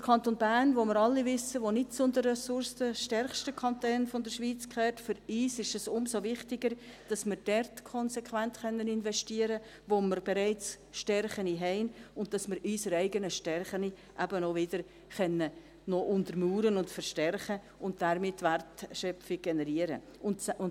Der Kanton Bern, von dem wir alle wissen, dass er nicht zu den ressourcenstärksten Kantonen der Schweiz gehört: für uns ist es umso wichtiger, dass wir dort konsequent investieren können, wo wir bereits Stärken haben, und dass wir unsere eigenen Stärken eben auch wieder untermauern, noch verstärken und damit Wertschöpfung generieren können.